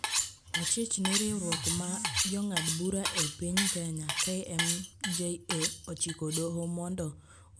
Ochich ni riwrok ma jongad bura ei piny Kenya (KMJA) ochiko doho modo ochung nonro mar mako jongad bura.